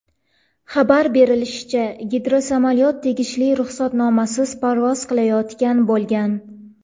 Xabar berishlaricha, gidrosamolyot tegishli ruxsatnomasiz parvoz qilayotgan bo‘lgan.